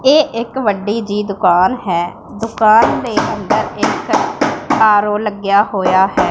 ਇਹ ਇੱਕ ਵੱਡੀ ਜਿਹੀ ਦੁਕਾਨ ਹੈ ਦੁਕਾਨ ਦੇ ਅੰਦਰ ਇੱਕ ਆਰ ਔ ਲੱਗਿਆ ਹੋਇਆ ਹੈ।